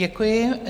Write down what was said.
Děkuji.